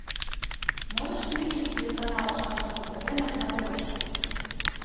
можешь включить телеканал шансон тв на смотрешке